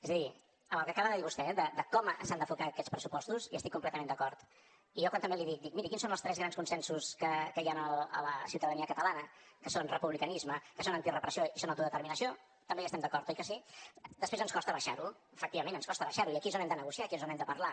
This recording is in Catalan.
és a dir amb el que acaba de dir vostè de com s’han d’enfocar aquests pressupostos hi estic completament d’acord i jo quan també li dic miri quins són els tres grans consensos que hi ha a la ciutadania catalana que són republicanisme que són antirrepressió i són autodeterminació també hi estem d’acord oi que sí després ens costa abaixar ho efectivament ens costa abaixar ho i aquí és on hem de negociar aquí és on hem de parlar